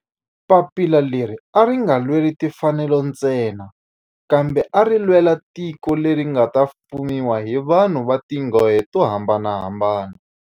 Papila leri a ri nga lweli timfanelo ntsena kambe ari lwela tiko leri nga ta fumiwa hi vanhu va tihlonge to hambanahambana.